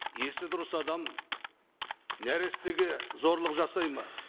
есі дұрыс адам нәрестеге зорлық жасай ма